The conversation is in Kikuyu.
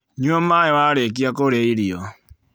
Nyua maĩĩ warĩkia kũrĩa irio